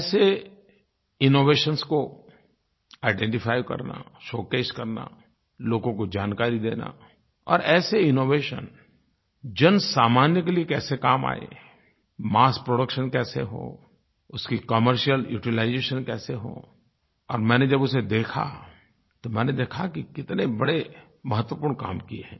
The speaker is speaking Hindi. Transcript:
ऐसे इनोवेशंस को आइडेंटिफाई करना शोकेस करना लोगों को जानकारी देना और ऐसे इनोवेशन जनसामान्य के लिये कैसे काम आएं मस्स प्रोडक्शन कैसे हो उसकी कमर्शियल यूटिलाइजेशन कैसे हो और मैंने जब उसे देखा तो मैंने देखा कि कितने बड़े महत्वपूर्ण काम किए हैं